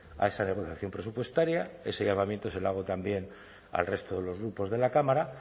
a esa negociación presupuestaria ese llamamiento se lo hago también al resto de los grupos de la cámara